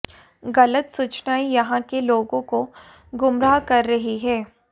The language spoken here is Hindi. गलत सूचनाएं यहां के लोगों को गुमराह कर रही हैं